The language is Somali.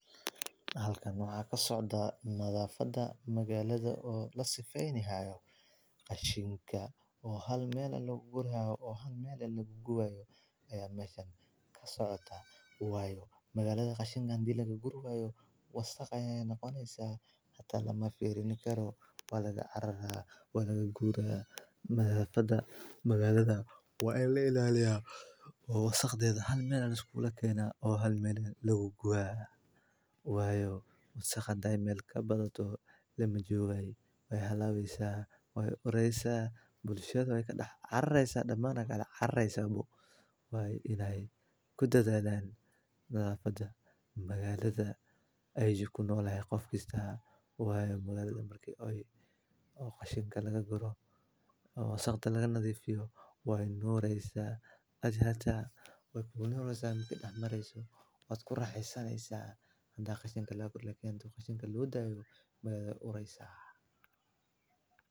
Halkan waxa socda nadaafada magaalada oo la sifaynihayo, qashinka oo hal meel loogu gurayo, oo hal meel loogu guayo ayaa macan ka socota. Waayo, magaalada qashinka aan di lagagu gurigayo. Wa sakh ayay naqooneysa hata lama fiirin karo, waa laga araraha, waa laga guuraha. Madaafada magaalada waa in la ilaaliyaa oo wa sakh dayda hal meel aad isku ula kayna, oo hal meel lugu guo. Waayo, wa sakh nadi mel ka badato le ma joogay? Way hala weysaa, way uraysaa bulshada way ka dhaq arraysaa, dhammaan aya ka dhaq arraysaa buu? Way inay ku dadaan nidaafada magaalada ay jikoo nool ay qof kista. Waayo, magaalada markay oy, oo qashinka laga guro, wa sakh ta laga nadiifiyo. Waay nuuraysaa, hadii hata way ku guulnooraysaa mikay dhamaraysaa, wadku raaxaysanaysa. Haddaan kashinka lagu gurigayo kiin kashinka loo daayo magaalada uraysa.